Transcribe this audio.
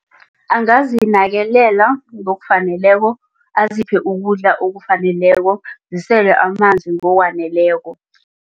Angazinakelela ngokufaneleko aziphe ukudla okufaneleko zisele amanzi ngokwaneleko.